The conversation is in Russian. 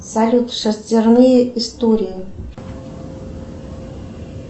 салют шестерные истории